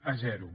a zero